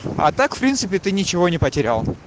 а так в принципе ты ничего не потерял